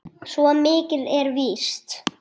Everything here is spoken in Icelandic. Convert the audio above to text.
Svo mikið er víst